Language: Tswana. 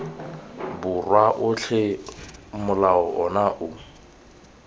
borwa otlhe molao ono o